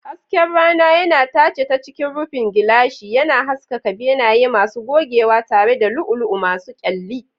Hasken rana yana tace ta cikin rufin gilashi, yana haskaka benaye masu gogewa tare da lu'ulu'u masu kyalli.